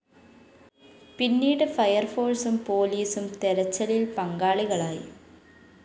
പിന്നീട് ഫയര്‍ഫോഴ്സും പോലീസും തെരച്ചലില്‍ പങ്കാളികളായി